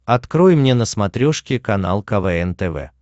открой мне на смотрешке канал квн тв